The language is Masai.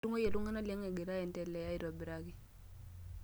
Atunguayie iltungana liang egira aendelea aitobiraki.